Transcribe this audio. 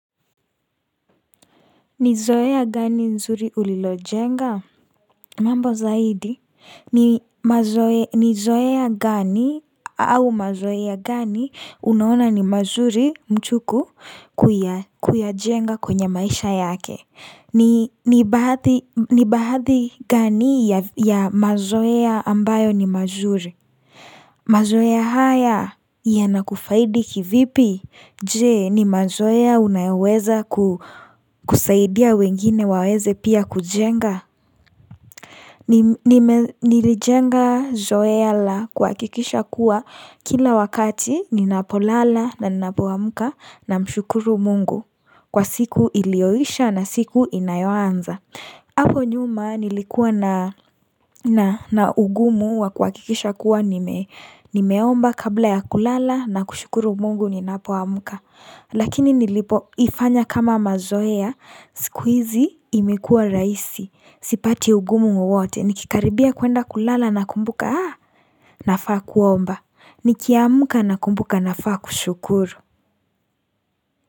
Ni zoea gani nzuri ulilojenga? Mambo zaidi, ni zoea gani au mazoea gani unaona ni mazuri mchuku kuyajenga kwenye maisha yake? Ni baadhi gani ya mazoea ya ambayo ni mazuri? Mazoea haya yanakufaidi kivipi? Je ni mazoea unayoweza kusaidia wengine waweze pia kujenga. Nilijenga zoea la kuhakikisha kuwa kila wakati ninapolala na ninapoamka namshukuru mungu kwa siku iliyoisha na siku inayoanza. Hapo nyuma nilikuwa na ugumu wa kuhakikisha kuwa nimeomba kabla ya kulala na kushukuru mungu ninapomka. Lakini nilipoifanya kama mazoea, siku hizi imekuwa rahisi, sipati ugumu wowote. Nikikaribia kuenda kulala nakumbuka nafaa kuomba. Nikiamka nakumbuka nafaa kushukuru.